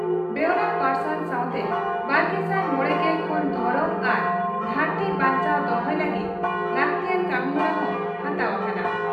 ᱵᱮᱣᱨᱟ ᱯᱟᱨᱥᱟᱞ ᱥᱟᱣᱛᱮ ᱵᱟᱨᱜᱮᱥᱟᱭ ᱜᱮᱞ ᱢᱚᱲᱮ ᱠᱷᱚᱱ ᱫᱷᱚᱨᱚᱢ ᱟᱨ ᱫᱷᱟᱹᱨᱛᱤ ᱵᱟᱧᱪᱟᱣ ᱫᱚᱦᱚᱭ ᱞᱟᱹᱜᱤᱫ ᱞᱟᱹᱜᱛᱤᱭᱟᱱ ᱠᱟᱹᱢᱤᱦᱚᱨᱟ ᱦᱚᱸ ᱦᱟᱛᱟᱣ ᱟᱠᱟᱱᱟ ᱾